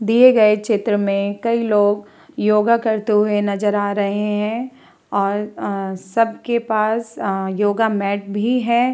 दिए गए चित्र में कई लोग योगा करते हुए नज़र आ रहे हैं और सब के पास योगा मेट भी हैं।